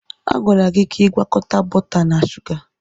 A gwara gị ka ị gwakọta bọta na shuga!